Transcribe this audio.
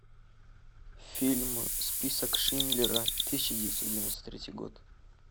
фильм список шиндлера тысяча девятьсот девяносто третий год